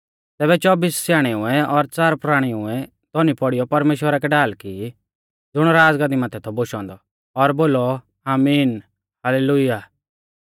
तैबै चौब्बिस स्याणेउऐ और च़ार प्राणिउऐ धौनी पौड़ीयौ परमेश्‍वरा कै ढाल की ज़ुण राज़गद्दी माथै थौ बोशौ औन्दौ और बोलौ आमीन हाल्लेलुय्याह